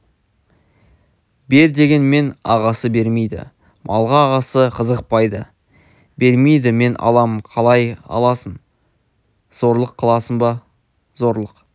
бер дегенмен ағасы бермейді малға ағасы қызықпайды бермейді мен алам қалай аласың зорлық қыласың ба зорлық